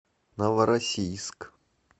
новороссийск